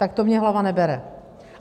Tak to mně hlava nebere.